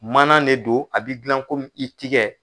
Mana ne don a be gilan komi i tigɛ